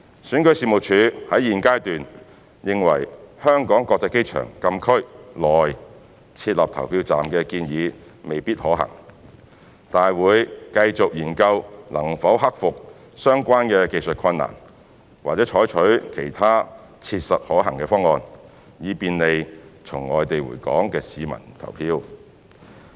選舉事務處在現階段認為於香港國際機場禁區內設立投票站的建議未必可行，但會繼續研究能否克服相關技術困難，或採取其他切實可行的方案，以便利從外地回港的市民投票。